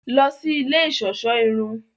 Lọ sí ilé iṣọṣọ irun!